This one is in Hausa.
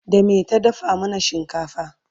da me ta dafa mana shinkafa?